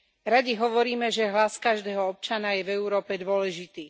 Radi hovoríme, že hlas každého občana je v Európe dôležitý.